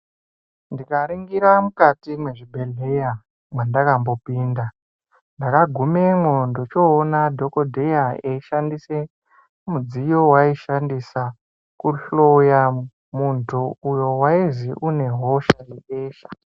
Ndikaringira mukati mwezvibhedhleya mwandakambopinda, ndakagumemwo ndochoona dhokodheya eishandise mudziyo waaishandisa kuhloya muntu uyo waizwi unehosha yebesha.